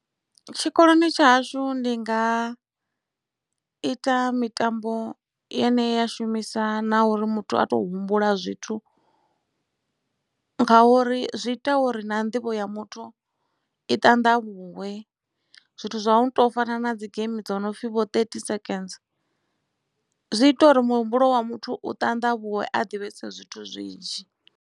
Tshikoloni tsha hashu ndi nga ita mitambo yeneyi ya shumisa na uri muthu a to humbula zwithu nga uri zwi ita uri na nḓivho ya muthu i ṱanḓavhuwe zwithu zwa u tou fana na dzi game dzo no pfhi vho thirty seconds zwi ita uri muhumbulo wa muthu u ṱanḓavhuwe a ḓivhese zwithu zwinzhi.